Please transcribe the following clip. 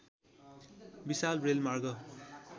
विशाल रेलमार्ग